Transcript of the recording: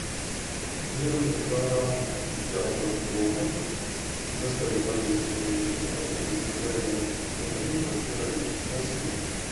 мне нужно килограмм яблок голден доставить по адресу улица гагарина дом один квартира один спасибо